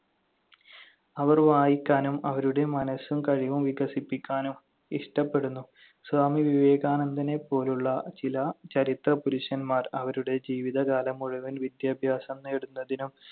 അവർ വായിക്കാനും അവരുടെ മനസ്സും കഴിവും വികസിപ്പിക്കാനും ഇഷ്ടപ്പെടുന്നു. സ്വാമി വിവേകാനന്ദനെപ്പോലുള്ള ചില ചരിത്രപുരുഷന്മാർ അവരുടെ ജീവിതകാലം മുഴുവൻ വിദ്യാഭ്യാസം നേടുന്നതിനും